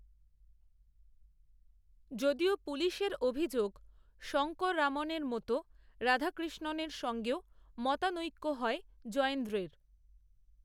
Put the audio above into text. যদিও পুলিশের অভিযোগ, শঙ্কররামনের মতো, রাধাকৃষ্ণনের সঙ্গেও মতানৈক্য হয়, জয়েন্দ্রের